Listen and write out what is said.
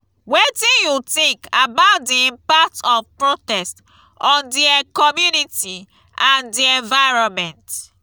wetin you think about di impact of protest on di community and di environment?